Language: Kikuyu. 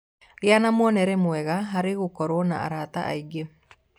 Gĩa na muonere mwega harĩ gũkorũo na arata aingĩ